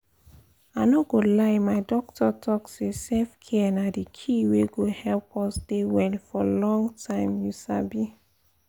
i no go lie my doctor talk say self-care na di key wey go help us dey well for long time you sabi!